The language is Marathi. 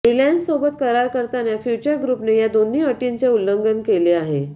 रिलायन्ससोबत करार करताना फ्यूचर ग्रुपने या दोन्ही अटींचं उल्लंघन केलं आहे